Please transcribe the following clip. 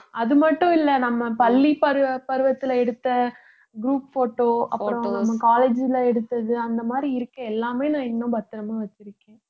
அது மட்டும் இல்லை நம்ம பள்ளிப் பருவ~ பருவத்திலே எடுத்த group photo அப்புறம் நம்ம college ல எடுத்தது அந்த மாதிரி இருக்கு எல்லாமே நான் இன்னும் பத்திரமா வச்சிருக்கேன்